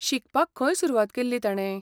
शिकपाक खंय सुरवात केल्ली ताणे?